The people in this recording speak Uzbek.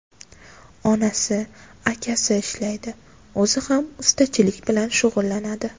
Onasi, akasi ishlaydi, o‘zi ham ustachilik bilan shug‘ullanadi.